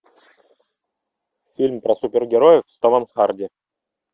фильм про супергероев с томом харди